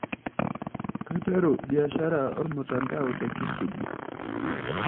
Kaiteru biashara ormutandao te Kisubi.